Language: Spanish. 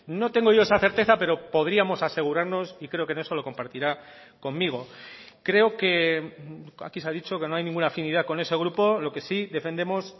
no tengo yo esa certeza pero podríamos asegurarnos y creo que en eso lo compartirá conmigo creo que aquí se ha dicho que no hay ninguna afinidad con ese grupo lo que si defendemos